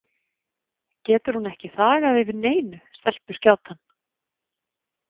Getur hún ekki þagað yfir neinu, stelpuskjátan?